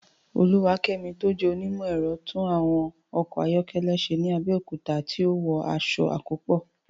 Oluwakemi tó jẹ́ onímọ̀ ẹ̀rọ, tún àwọn ọkọ̀ ayọ́kẹ́lẹ́ ṣe ní Abẹ́òkúta tí ó wọ aṣọ àkópọ̀.